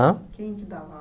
Hã Quem é que dava aula?